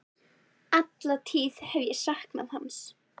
Alla tíð hef ég saknað hans.